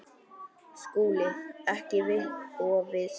SKÚLI: Ekki of viss!